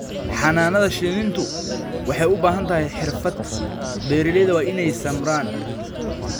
Xannaanada shinnidu waxay u baahan tahay xirfad. Beeralayda waa inay samraan.